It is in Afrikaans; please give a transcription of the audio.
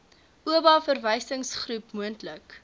oba verwysingsgroep moontlik